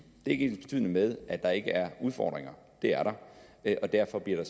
ikke ensbetydende med at der ikke er udfordringer det er der og derfor bliver